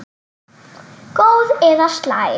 Góð eða slæm?